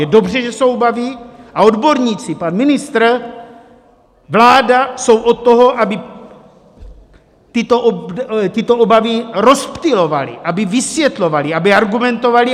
Je dobře, že jsou obavy a odborníci, pan ministr, vláda jsou od toho, aby tyto obavy rozptylovali, aby vysvětlovali, aby argumentovali.